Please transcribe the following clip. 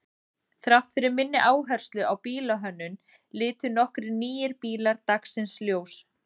Þrátt fyrir minni áherslu á bílahönnun litu nokkrir nýir bílar dagsins ljós.